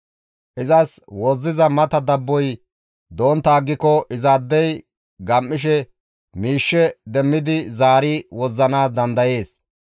Izas wozziza mata dabboy dontta aggiko izaadey gam7ishe miishshe demmidi zaari wozzanaas dandayees.